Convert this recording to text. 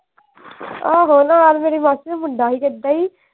ਆਹੋ ਨਾਲ ਮੇਰੀ ਮਾਸੀ ਦਾ ਮੁੰਡਾ ਹੀ